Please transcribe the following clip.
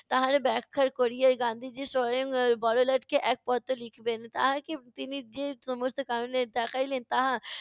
তাহার ব্যাখা করিয়ে গান্ধীজি স্বয়ং বড়লাটকে এক পত্র লিখবেন। তাহাকে তিনি যে সমস্যার কারণে দেখাইলেন তাহা